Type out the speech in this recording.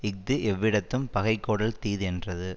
இஃது எவ்விடத்தும் பகைகோடல் தீது என்றது